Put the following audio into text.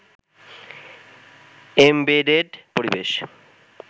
embedded পরিবেশ